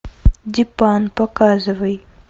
дипан показывай